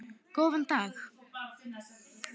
Góðan dag.